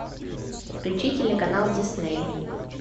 включи телеканал дисней